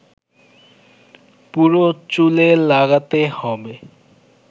পুরো চুলে লাগাতে হবে